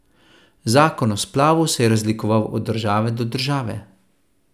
Zakon o splavu se je razlikoval od države do države.